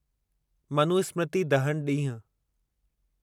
मनुस्मृति दहन ॾींहुं